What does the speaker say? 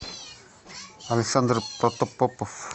александр протопопов